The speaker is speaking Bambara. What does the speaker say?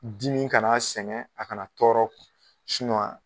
Dimi kan'a sɛŋɛ, a kana tɔɔrɔ a